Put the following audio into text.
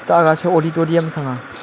tah aga sa auditorium sang a.